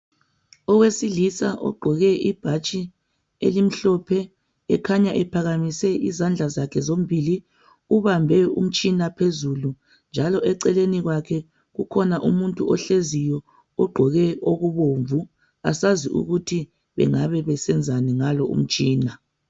Owesilisa ogqoke ibhatshi elimhlophe ekhanya ephakamise izandla zakhe zombili, ukhanya ubambe umtshina ngezandla zombili njalo eceleni lwakhe kukhona umuntu ohleziyoogqoke okubomvu asazi ukuthi bengaba besenzani ngalo umtshina